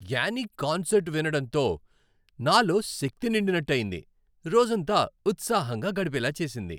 Annie concert వినడంతో నాలో శక్తి నిండినట్టు అయింది, రోజంతా ఉత్సాహంగా గడిపేలా చేసింది.